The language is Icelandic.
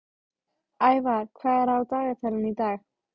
Ævar, hvað er á dagatalinu í dag?